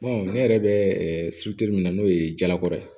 ne yɛrɛ bɛ min na n'o ye jalakɔrɔ ye